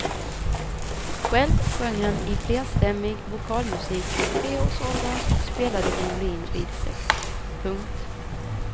Själv sjöng han i flerstämmig vokalmusik från treårsåldern och spelade violin vid sex. punkt